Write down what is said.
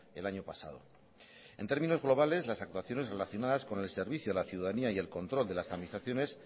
el año pasado en términos globales las actuaciones relacionadas con el servicio la ciudadanía y el control de las administraciones